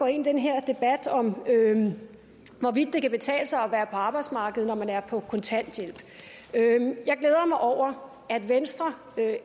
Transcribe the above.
ind i den her debat om hvorvidt det kan betale sig at være på arbejdsmarkedet når man er på kontanthjælp jeg glæder mig over at venstre